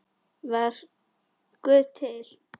Var Guð til?